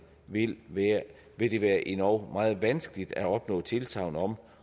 vil vil det være endog meget vanskeligt at opnå tilsagn om